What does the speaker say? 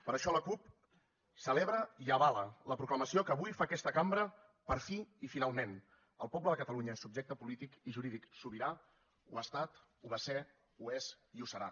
per això la cup celebra i avala la proclamació que avui fa aquesta cambra per fi i finalment el poble de catalunya és subjecte polític i jurídic sobirà ho ha estat ho va ser ho és i ho serà